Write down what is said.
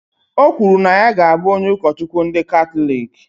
Ọ kwuru na ya ga abụ onye Ukochukwu ndị Katọlik